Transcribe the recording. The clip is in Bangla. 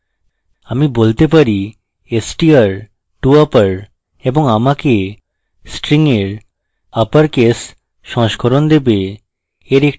আমি বলতে পারি str to upper এবং আমাকে string এর upper কেস সংস্করণ দেবে